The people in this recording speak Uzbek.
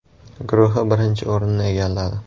guruhi birinchi o‘rinni egalladi.